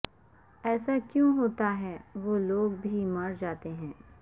ایسا کیوں ہوتا ہے وہ لوگ بھی مرجاتے ہیں